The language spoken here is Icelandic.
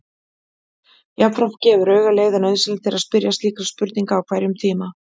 Jafnframt gefur auga leið að nauðsynlegt er að spyrja slíkra spurninga á hverjum tíma.